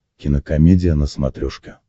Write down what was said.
кинокомедия на смотрешке